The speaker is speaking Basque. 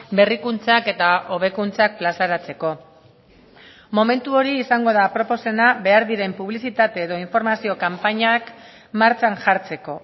berrikuntzak eta hobekuntzak plazaratzeko momentu hori izango da aproposena behar diren publizitate edo informazio kanpainak martxan jartzeko